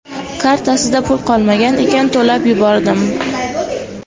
Kartasida pul qolmagan ekan, to‘lab yubordim.